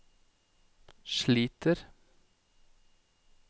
sliter